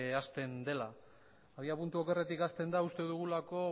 hasten dela abiapuntu okerretik hasten da uste dugulako